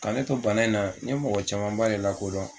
Ka ne to bana in na n ye mɔgɔ camanba de lakodɔn